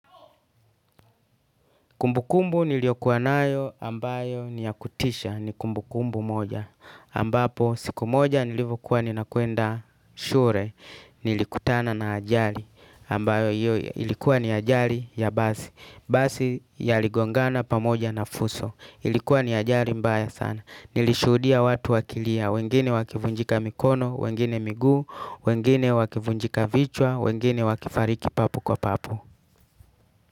Kumbukumbu niliyokuwa nayo ambayo ni ya kutisha ni kumbukumbu moja. Ambapo siku moja nilivokuwa nina kwenda shule nilikutana na ajali ambayo ilikuwa ni ajali ya basi. Basi ya ligongana pamoja na fuso ilikuwa ni ajali mbaya sana. Nilishudia watu wakilia wengine wakivunjika mikono, wengine miguu, wengine wakivunjika vichwa, wengine wakifariki papo kwa papo.